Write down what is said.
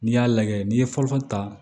N'i y'a lajɛ n'i ye fɔlɔfɔlɔ ta